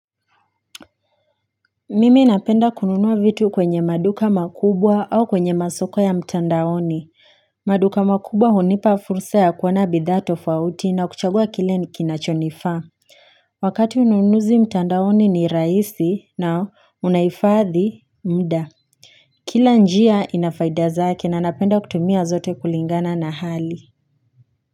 Mimi napenda kununua vitu kwenye maduka makubwa au kwenye masoko ya mtandaoni maduka makubwa hunipa fursa ya kuona bidha tofauti na kuchagua kile kinachonifa Wakati ununuzi mtandaoni ni rahisi na unaifadhi mdaa Kila njia inafaida zake na napenda kutumia zote kulingana na hali.